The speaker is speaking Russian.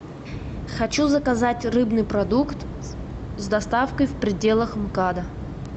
хочу заказать рыбный продукт с доставкой в пределах мкада